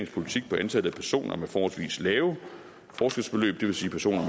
politik på antallet af personer med forholdsvis lave forskelsbeløb det vil sige personer